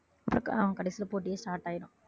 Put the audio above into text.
கடைசியில போட்டியும் start ஆயிடும்